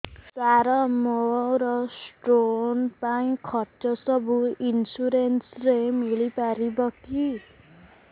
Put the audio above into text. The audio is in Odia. ସାର ମୋର ସ୍ଟୋନ ପାଇଁ ଖର୍ଚ୍ଚ ସବୁ ଇନ୍ସୁରେନ୍ସ ରେ ମିଳି ପାରିବ କି